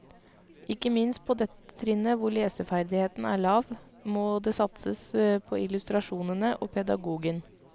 Ikke minst på dette trinnet hvor leseferdigheten er lav, må det satses på illustrasjonene og pedagogen.